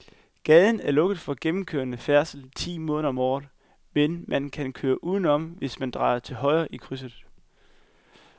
Gaden er lukket for gennemgående færdsel ti måneder om året, men man kan køre udenom, hvis man drejer til højre i krydset.